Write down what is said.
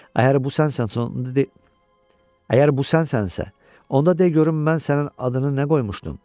Əgər bu sənsənsə, onda de görüm mən sənin adını nə qoymuşdum?